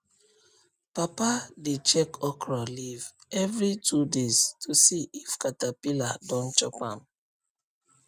papa dey check okra leaf every two days to see if caterpillar don chop am